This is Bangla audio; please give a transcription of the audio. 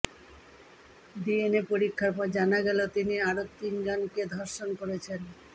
ডিএনএ পরীক্ষার পর জানা গেল তিনি আরো তিনজনকে ধর্ষণ করেছেন